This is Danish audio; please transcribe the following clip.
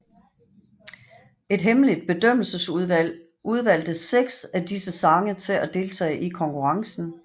Et hemmeligt bedømmelsesudvalg udvalgte seks af disse sange til at deltage i konkurrencen